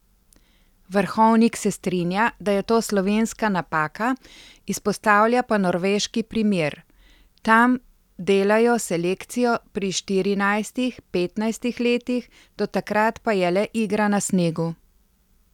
Vrhovnik se strinja, da je to slovenska napaka, izpostavlja pa norveški primer: 'Tam delajo selekcijo pri štirinajstih, petnajstih letih, do takrat pa je le igra na snegu.